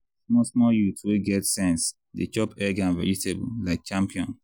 small small youth wey get sense dey chop egg and vegetable like champion.